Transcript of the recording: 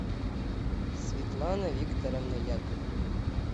светлана викторовна яковлева